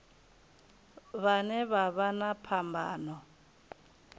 vhane vha vha na phambano